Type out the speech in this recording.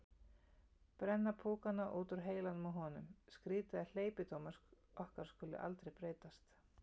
Brenna púkana út úr heilanum á honum: skrýtið að hleypidómar okkar skuli aldrei breytast.